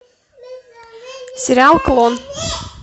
сериал клон